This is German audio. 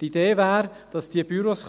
Die Idee wäre, dass diese Büros